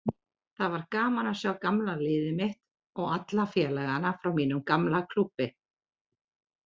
Það var gaman að sjá gamla liðið mitt og alla félagana frá mínum gamla klúbbi.